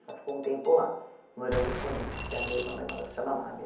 Ela ficou um tempo lá, morando com eles, que é a minha irmã mais nova, que se chama Mábia.